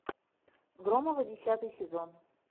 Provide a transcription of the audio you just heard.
громовы десятый сезон